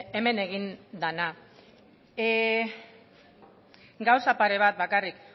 hemen egin dena gauza pare bat bakarrik